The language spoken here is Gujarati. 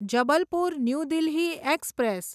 Jabalpur new Delhi express